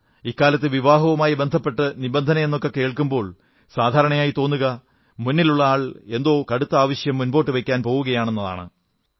ഇക്കാലത്ത് വിവാഹവുമായി ബന്ധപ്പെട്ട് നിബന്ധനയെന്നൊക്കെ കേൾക്കുമ്പോൾ സാധാരണയായി തോന്നുക മുന്നിലുള്ള ആൾ ഏതോ കടുത്ത ആവശ്യം മുന്നോട്ടു വയ്ക്കാൻ പോകയാണെന്നാണ്